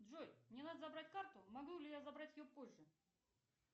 джой мне надо забрать карту могу ли я забрать ее позже